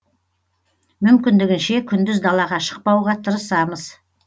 мүмкіндігінше күндіз далаға шықпауға тырысамыз